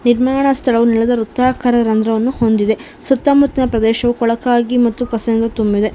ಇದ್ಮಾನ ಸ್ಥಳವು ನೆಲದ ವೃತ್ತಾಕಾರ ರಂದ್ರವನ್ನು ಹೊಂದಿದೆ ಸುತ್ತ ಮುತ್ತ ನ ಪ್ರದೇಶವು ಕೊಳಕಾಗಿ ಮತ್ತು ಕಸಯಿಂದ ತುಂಬಿದೆ.